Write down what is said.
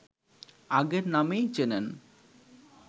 আগের নামেই চেনেন